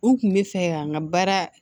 U kun bɛ fɛ ka n ka baara